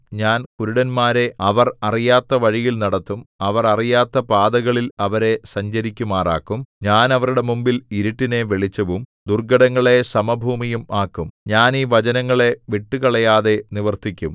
ഞാൻ കുരുടന്മാരെ അവർ അറിയാത്ത വഴിയിൽ നടത്തും അവർ അറിയാത്ത പാതകളിൽ അവരെ സഞ്ചരിക്കുമാറാക്കും ഞാൻ അവരുടെ മുമ്പിൽ ഇരുട്ടിനെ വെളിച്ചവും ദുർഘടങ്ങളെ സമഭൂമിയും ആക്കും ഞാൻ ഈ വചനങ്ങളെ വിട്ടുകളയാതെ നിവർത്തിക്കും